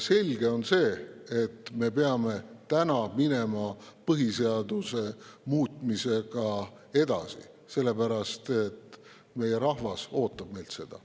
Selge on see, et me peame minema põhiseaduse muutmisega edasi, sest meie rahvas ootab meilt seda.